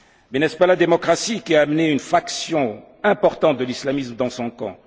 Mais n'est ce pas la démocratie qui a amené une fraction importante de l'islamisme dans son camp?